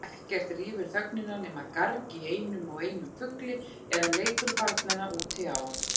Ekkert rýfur þögnina nema garg í einum og einum fugli eða leikur barnanna úti á